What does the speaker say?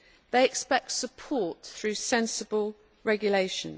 They expect support through sensible regulation.